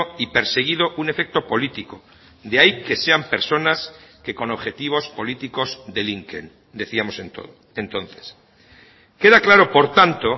y perseguido un efecto político de ahí que sean personas que con objetivos políticos delinquen decíamos entonces queda claro por tanto